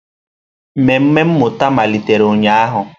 Mmemme mmụta malitere ụnyahụ.